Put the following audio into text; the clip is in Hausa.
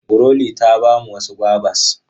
Glory ta ba mu wasu gwabas.